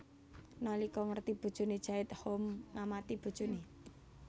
Nalika ngerti bojone jait Home ngamati bojone